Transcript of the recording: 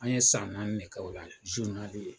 An ye san nanni de k'o la